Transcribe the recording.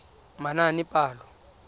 manaanepalo